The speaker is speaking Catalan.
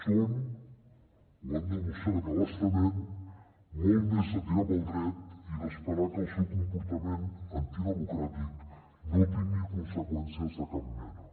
són ho han demostrat a bastament molt més de tirar pel dret i d’esperar que el seu comportament antidemocràtic no tingui conseqüències de cap mena